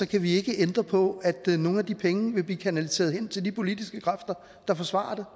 kan vi ikke ændre på at nogle af de penge vil blive kanaliseret hen til de politiske kræfter der forsvarer